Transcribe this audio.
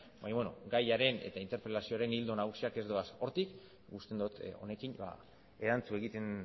baina beno gaiaren eta interpelazioaren ildo nagusiak ez doaz hortik uste dut honekin erantzun egiten